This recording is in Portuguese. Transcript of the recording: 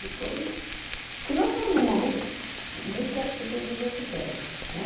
Depois, porque nós estamos num momento que meio que as pessoas usam o que querem, né?